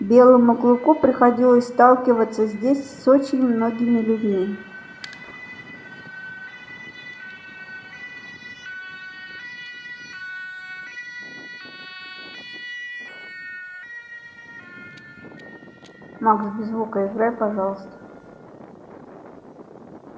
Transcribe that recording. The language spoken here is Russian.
белому клыку приходилось сталкиваться здесь с очень многими людьми макс без звука играй пожалуйста